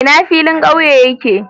Ina filin ƙauye yake?